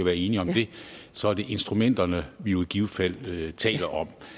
være enige om det så er det instrumenterne vi jo i givet fald taler om